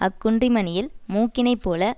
அக்குன்றிமணியில் மூக்கினைப் போல